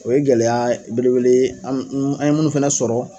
O ye gɛlɛya belebele ye an n an ye mun fɛnɛ sɔrɔ